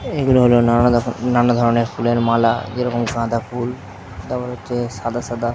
এগুলো হলো নানা নানা ধরনের ফুলের মালা যেরকম গেঁদা ফুল তারপরে হচ্ছে সাদা সাদা --